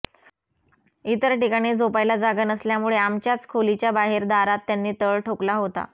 इतर ठिकाणी झोपायला जागा नसल्यामुळे आमच्याच खोलीच्या बाहेर दारात त्यांनी तळ ठोकला होता